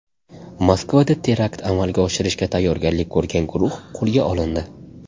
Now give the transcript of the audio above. Moskvada terakt amalga oshirishga tayyorgarlik ko‘rgan guruh qo‘lga olindi.